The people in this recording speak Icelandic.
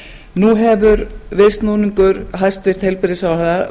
nú hefur viðsnúningur hæstvirtur heilbrigðisráðherra